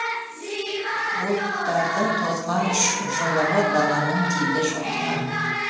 бұлттардың тозған жұлығы даланың тиді жонына